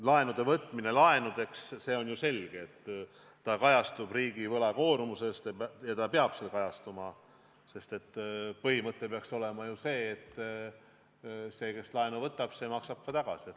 Laenude võtmine laenudeks – on ju selge, et laen kajastub riigi võlakoormuses ja peabki seal kajastuma, sest põhimõte peaks olema ju selline, et see, kes laenu võtab, maksab ka tagasi.